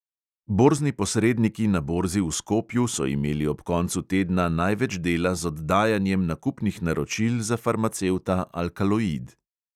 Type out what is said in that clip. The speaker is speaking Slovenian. Borzni posredniki na borzi v skopju so imeli ob koncu tedna največ dela z oddajanjem nakupnih naročil za farmacevta alkaloid.